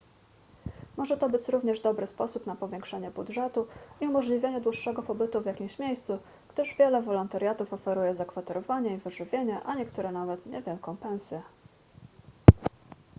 może to być również dobry sposób na powiększenie budżetu i umożliwienie dłuższego pobytu w jakimś miejscu gdyż wiele wolontariatów oferuje zakwaterowanie i wyżywienie a niektóre nawet niewielką pensję